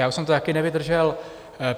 Já už jsem to také nevydržel.